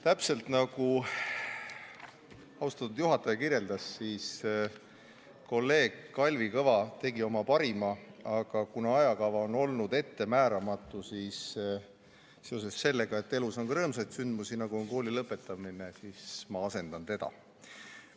Täpselt nagu austatud juhataja kirjeldas, kolleeg Kalvi Kõva tegi oma parima, aga kuna ajakava on olnud ettemääramatu, siis seoses sellega, et elus on ka rõõmsaid sündmusi, nagu on kooli lõpetamine, siis ma asendan teda.